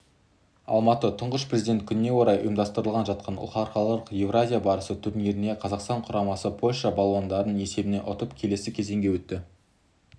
алматыда тұңғыш президент күніне орай ұйымдастырылып жатқан халықаралық еуразия барысы турнирінде қазақстан құрамасы польша балуандарын есебімен ұтып келесі кезеңге өтті